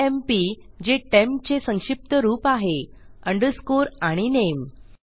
TMP जे temp चे संक्षिप्त रूप आहे अंडरस्कोर आणि नामे